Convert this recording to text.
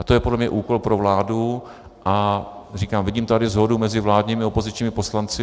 A to je podle mě úkol pro vládu a říkám, vidím tady shodu mezi vládními a opozičními poslanci.